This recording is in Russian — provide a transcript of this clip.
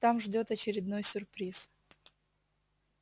там ждёт очередной сюрприз